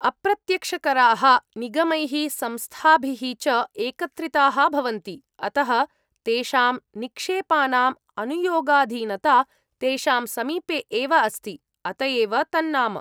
अप्रत्यक्षकराः निगमैः संस्थाभिः च एकत्रिताः भवन्ति, अतः तेषां निक्षेपानाम् अनुयोगाधीनता तेषां समीपे एव अस्ति, अत एव तन्नाम।